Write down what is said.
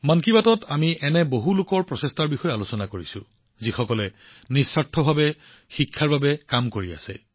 মন কী বাতত আমি এনে বহুলোকৰ প্ৰচেষ্টাৰ ওপৰত আলোকপাত কৰিছো যিসকলে নিস্বাৰ্থভাৱে শিক্ষাৰ বাবে কাম কৰি আছে